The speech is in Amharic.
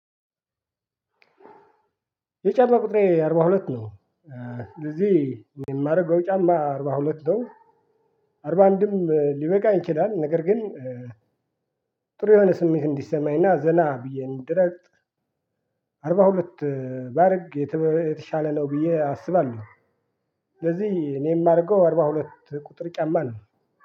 የጫማ ቁጥሬ አርባ ሁለት ነው። ለዚህ የማደርገው ጫማ አርባ ሁለት ነው። አርባ አንድም ሊበቃኝ ይችላል ነገር ግን። ጥሩ የሆነ ስሜት እንዲሰማኝና ዘና ብዬ እንድረጥ አርባ ሁለት ባደርግ የተሻለ ነው ብዬ አስባለሁ። ለዚህ እኔ የማደርገው አርባ ሁለት ቁጥር ጫማ ነው።